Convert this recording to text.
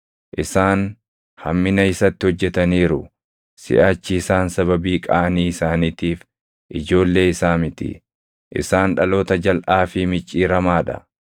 Isaan hammina isatti hojjetaniiru; siʼachi isaan sababii qaanii isaaniitiif ijoollee isaa miti; isaan dhaloota jalʼaa fi micciiramaa dha.